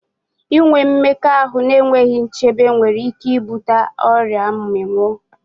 Inwe mmekọahụ n'enweghi nchebe nwere ike i bute ọrịa mmịnwụ